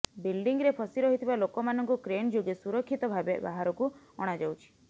ବିଲଡିଂରେ ଫସି ରହିଥିବା ଲୋକାମାନଙ୍କୁ କ୍ରେନଯୋଗେ ସୁରକ୍ଷିତ ଭାବେ ବାହାରକୁ ଅଣାଯାଉଛି